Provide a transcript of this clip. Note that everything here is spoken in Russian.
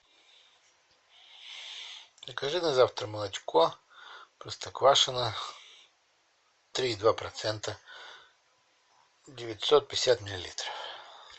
закажи на завтра молочко простоквашино три и два процента девятьсот пятьдесят миллилитров